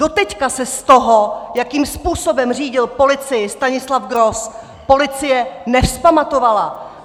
Doteď se z toho, jakým způsobem řídil policii Stanislav Gross, policie nevzpamatovala.